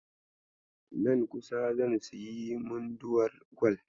Nan kusa zan sayi munduwar gwal.